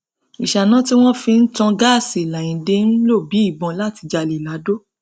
ìṣáná tí wọn fi ń tan gáàsì làyíǹde ń ń lò bíi ìbọn láti jalè ladò